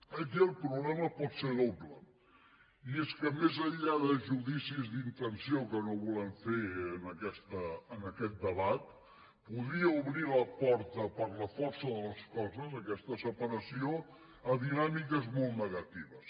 aquí el problema pot ser doble i és que més enllà de judicis d’intenció que no volem fer en aquest debat podria obrir la porta per la força de les coses aquesta separació a dinàmiques molt negatives